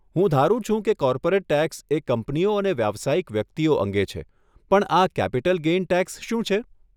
હું ધારું છું કે કોર્પોરેટ ટેક્સ એ કંપનીઓ અને વ્યવસાયિક વ્યક્તિઓ અંગે છે પણ આ કેપિટલ ગેઇન ટેક્સ શું છે?